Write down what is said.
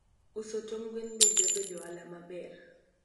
uso tong gwen be jabedo ohala maber